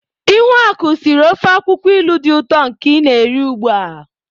Ihuaku siri ofe akwukwo ilu di uto nke i na-eri ugbua.